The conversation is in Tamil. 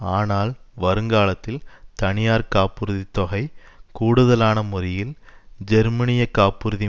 ஆனால் வருங்காலத்தில் தனியார் காப்புறுதி தொகை கூடுதலான முறியில் ஜெர்மனிய காப்புறுதி